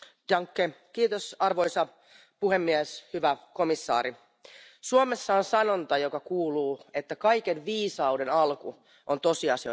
Arvoisa puhemies, hyvä komissaari, Suomessa on sanonta, joka kuuluu, että kaiken viisauden alku on tosiasioiden tunnustaminen.